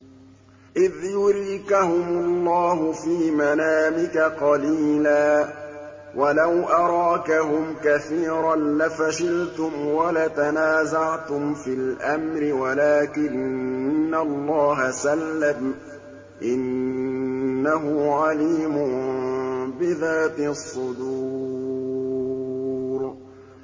إِذْ يُرِيكَهُمُ اللَّهُ فِي مَنَامِكَ قَلِيلًا ۖ وَلَوْ أَرَاكَهُمْ كَثِيرًا لَّفَشِلْتُمْ وَلَتَنَازَعْتُمْ فِي الْأَمْرِ وَلَٰكِنَّ اللَّهَ سَلَّمَ ۗ إِنَّهُ عَلِيمٌ بِذَاتِ الصُّدُورِ